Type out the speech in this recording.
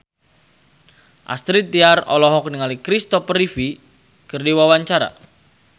Astrid Tiar olohok ningali Christopher Reeve keur diwawancara